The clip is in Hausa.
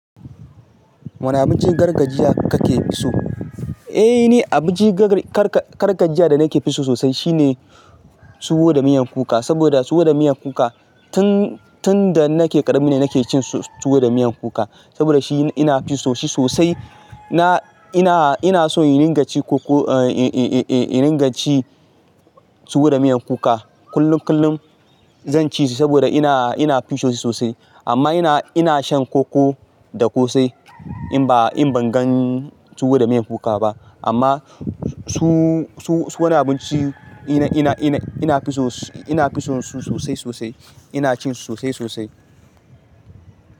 Wane abincin gargajiya kake so? Eh ne, abinci garg-karka-karkajiya da nake so sosai shine tuwo da miyan kuka. Saboda tuwo da miyan kuka tun, tun da nake ƙarami ne nake cin su tuwo da miyan kuka. Saboda shi ina fi so shi sosai. Na, ina, ina son in ringa ci koko, eh, eh, eh, eh, in ringa ci tuwo da miyan kuka kullum, kullum zan ci shi saboda ina, ina so shi sosai. Amma ina, ina shan koko da ƙosai in ba, in ban gan tuwo da miyan kuka ba. Amma su, su, su wani abinci ina, ina, ina, ina so suna fi son su sosai, sosai. Ina cin su sosai, sosai.